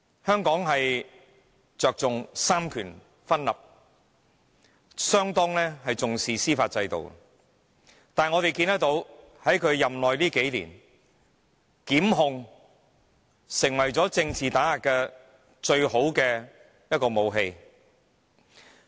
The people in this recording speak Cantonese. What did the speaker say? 香港着重三權分立，相當重視司法制度，但是我們看到，在他任內這數年，檢控成為了政治打壓的最佳武器。